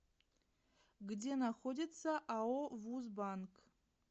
где находится ао вуз банк